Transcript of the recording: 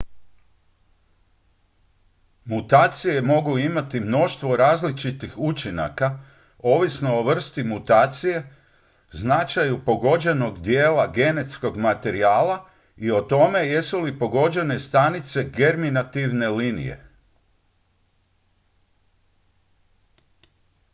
mutacije mogu imati mnoštvo različitih učinaka ovisno o vrsti mutacije značaju pogođenog dijela genetskog materijala i o tome jesu li pogođene stanice germinativne linije